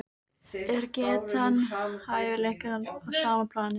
Er getan og hæfileikar á sama plani?